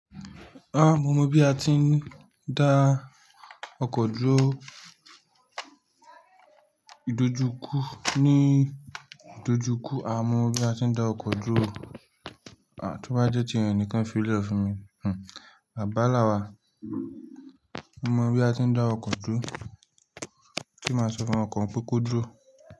Ah mo mọ bi a ti n da oko duro idojukú, ni idojukú a mọ bi a ti n da oko duro, ah ti o ba jẹ tiyẹn ni kan fi lẹ fun mi, hmn, baba lawa, mo mọ bi a ti n da oko duro, ti ma sọ fun ọkọ un pe ko duro.